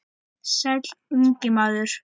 Sæll, ungi maður